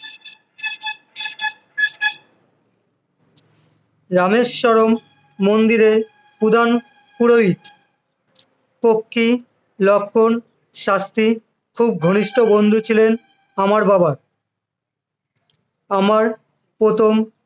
রামেশ্বরম মন্দিরের প্রধান পুরোহিত, পক্ষী লক্ষন শাস্ত্রী খুব ঘনিষ্ঠ বন্ধু ছিলেন আমার বাবার, আমার প্রথম